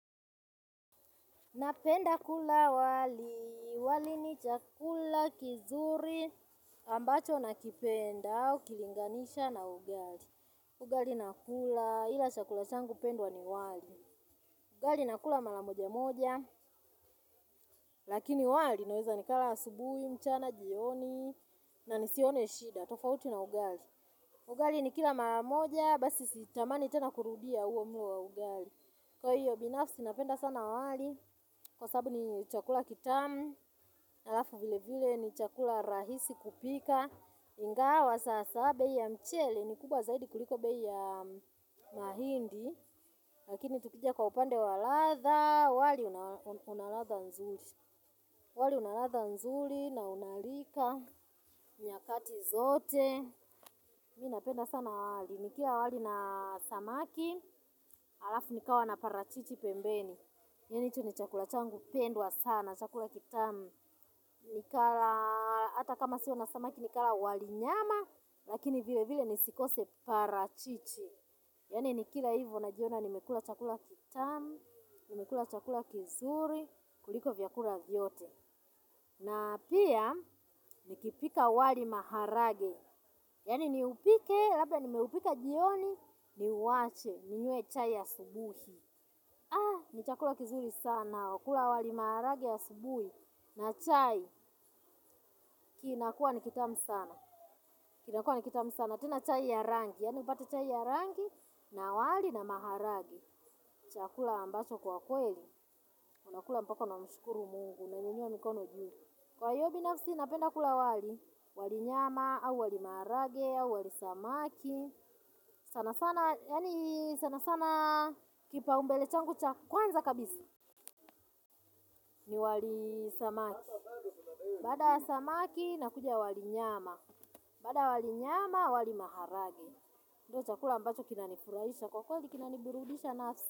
Napenda kula wali, wali ni chakula kizuri ambacho nakipenda ukilinganisha na ugali. Ugali nakula, ila chakula changu pendwa ni wali. Ugali nakula mala moja moja, lakini wali naeza nikala asubui, mchana, jioni na nisione shida, tofauti na ugali. Ugali nikila mala moja, basi sitamani tena kurudia uo mlo wa ugali. Kwa hiyo binafsi napenda sana wali, kwa sabu ni chakula kitamu, alafu vile vile ni chakula rahisi kupika, ingawa sasa bei ya mchele ni kubwa zaidi kuliko bei ya mahindi, lakini tukija kwa upande wa ladha, wali una ladha nzuri, wali una ladha nzuri na unalika, nyakati zote, mi napenda sana wali, nikila wali na samaki, alafu nikawa na parachichi pembeni. Yani hicho ni chakula changu pendwa sana, chakula kitamu, hata kama sio na samaki nikala wali nyama, lakini vile vile nisikose parachichi. Yani nikila hivo najiona nimekula chakula kitamu, nimekula chakula kizuri, kuliko vyakula vyote. Na pia, nikipika wali maharage, yani niupike, labda nimeupika jioni, niwache, ninyue chai asubuhi. Ni chakula kizuri sana, kula wali maharage asubuhi, na chai, inakuwa ni kitamu sana, tena chai ya rangi, yani upate chai ya rangi, na wali na maharage, ni chakula ambacho kwa kweli, unakula mpaka unamshukuru mungu, unanyunyua mikono juu. Kwa hio binafsi napenda kula wali, wali nyama, au wali maharage, au wali samaki, yani sana sana, kipaumbele changu cha kwanza kabisa, ni wali samaki, baada ya samaki nakuja wali nyama, baada ya wali nyama wali maharage, ndio chakula ambacho kinanifurahisha kwa kweli kinanibirudisha nafsi.